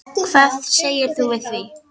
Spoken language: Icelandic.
Hvað segir þú við því?